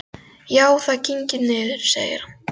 Já, það kyngir niður, sagði hann.